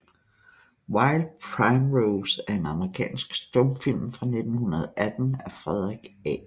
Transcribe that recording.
Wild Primrose er en amerikansk stumfilm fra 1918 af Frederick A